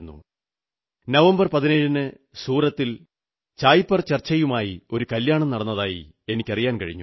17 നവംബറിന് സൂറത്തിൽ ചായ് പേ ചർച്ചയുമായി ഒരു കല്യാണം നടന്നതായി എനിക്കറിയാൻ കഴിഞ്ഞു